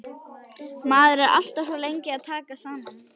Maður er alltaf svo lengi að taka saman.